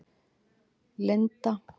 Linda